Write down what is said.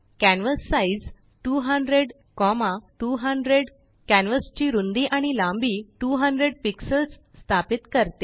canvas size 200200कॅनवासची रुंदी आणि लांबी २००पिक्सल्स स्थापित करते